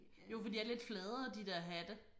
Jo for de er lidt fladere de der hatte